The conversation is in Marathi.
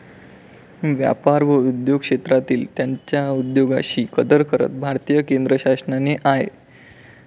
व्यापार व उद्योग क्षेत्रांतील त्यांच्या उद्योगाशी कदर करत भारतीय केंद्रशासनाने आय.